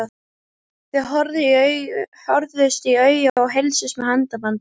Þau horfðust í augu og heilsuðust með handabandi.